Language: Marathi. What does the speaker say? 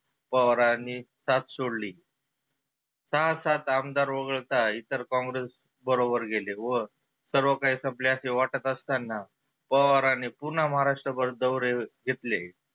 पवारांनी साथ सोडली. सहा सात आमदार वघळता इतर कॉंग्रेस बरोबर गेले व सर्व काही संपले असे वाटत असताना पवारांनी पुन्हा महाराष्ट्रभर दौरे घेतले.